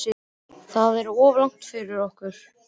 Það er of langt fyrir okkur.